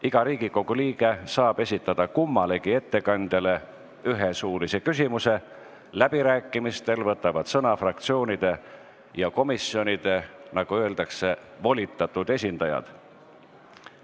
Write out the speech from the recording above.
Iga Riigikogu liige saab esitada kummalegi ettekandjale ühe suulise küsimuse, läbirääkimistel võtavad sõna fraktsioonide ja komisjonide volitatud esindajad.